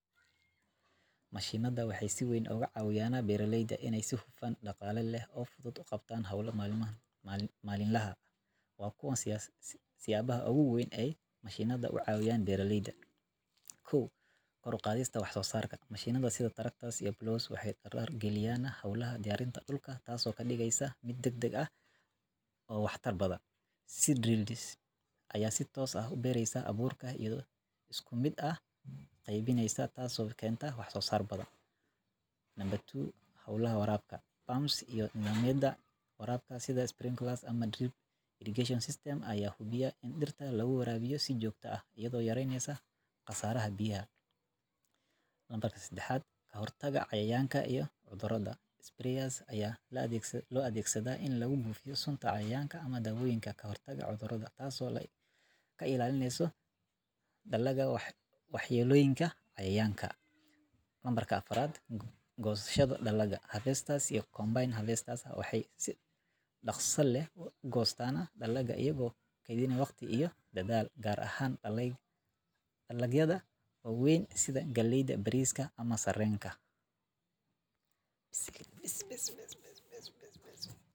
Mashiinnada waxay si weyn uga caawiyaan beeralayda hawlahooda maalinlaha ah iyagoo fududeeya, dedejiya, islamarkaana kordhiya wax-soosaarka. Waxay beddelaan shaqada gacanta ee daalka badan, gaar ahaan marka la tacaalayo hawlo waaweyn sida abuurista, waraabinta, goosashada iyo nadiifinta dalagga. Mashiinnada sida spraws iyo spurs kuwa abuurka, matoorada biyaha waraabiya, seedlings iyo kuwa goosta dalagga waxay u oggolaanayaan beeraleyda inay dhulka ballaaran wax ka beeraan iyagoo aan waqti badan gelin. Tani waxay keenaysaa in wax-soosaarka kordho, kharashka shaqaaluhuna yaraado, taasoo beeraleyda u sahleysa inay helaan faa’iido dhaqaale oo badan. Intaa waxaa dheer, mashiinnadu waxay ka caawiyaan ilaalinta tayada dalagga iyo in hawlaha beeraleyda noqdaan kuwo qorsheysan oo hufan, dalagyada waweyn sidha galleyda ama sarenka.